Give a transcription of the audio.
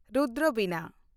ᱨᱩᱫᱨᱚ ᱵᱤᱱᱟ